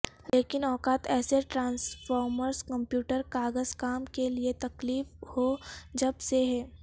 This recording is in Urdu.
لیکن اوقات ایسے ٹرانسفارمرز کمپیوٹر کاغذ کام کے لئے تکلیف ہو جب سے ہیں